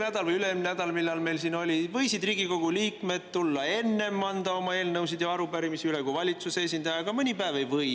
Eelmine või üle-eelmine nädal, või millal see meil siin oli, võisid Riigikogu liikmed anda oma eelnõusid ja arupärimisi üle enne kui valitsuse esindaja, aga mõni päev ei või.